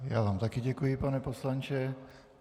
Já vám také děkuji, pane poslanče.